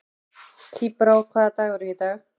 Tíbrá, hvaða dagur er í dag?